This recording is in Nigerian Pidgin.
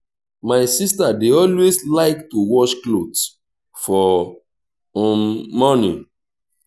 my sister dey always like to wash cloth for um morning